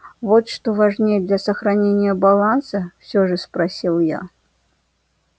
вот что важнее для сохранения баланса всё же спросил я